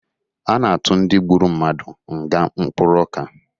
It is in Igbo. A na-atụ ndị gburu mmadụ nga mkpụrụ ọka